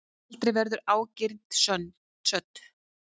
Aldrei verður ágirnd södd.